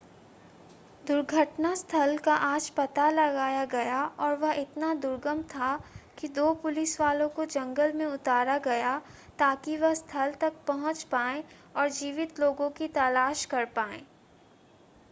दुर्घटना स्थल का आज पता लगाया गया और वह इतना दुर्गम था कि दो पुलिसवालों को जंगल में उतरा गया ताकि वह स्थल तक पहुंच पाएं और जीवित लोगों की तलाश कर पाएं